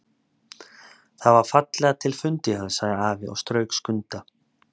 Það var fallega til fundið hjá þér, sagði afi og strauk Skunda.